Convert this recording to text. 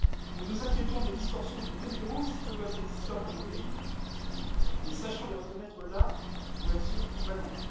Nous nous inquiétons des distorsions de concurrence qui peuvent exister entre nos pays, mais sachons les reconnaître là où elles sont vraiment.